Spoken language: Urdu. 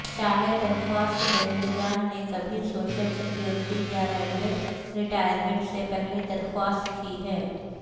چاہے درخواست دہندگان نے کبھی سوشل سیکورٹی یا ریلوے ریٹائرمنٹ سے پہلے درخواست کی ہے